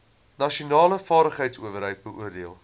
nasionale vaardigheidsowerheid beoordeel